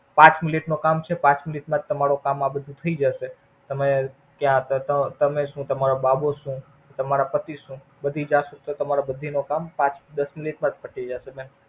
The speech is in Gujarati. પાંચ મિનિટ માં કામ છે પાંચ મિનિટ માંતમારો કામ આ બધું થઈ જશે. તમે છો તમારા બાબો છે તમારા પતિ છે. બધી તમારી બધી નો કામ પાંચ દસ માં જ પતી જશે બેન.